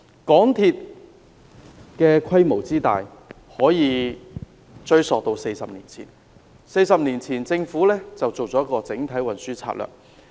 港鐵規模之大，可以追溯到40年前，當時政府進行了一項整體運輸策略。